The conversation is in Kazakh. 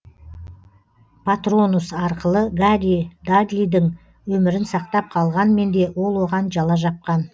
патронус арқылы гарри дадлидің өмірін сақтап қалғанмен де ол оған жала жапқан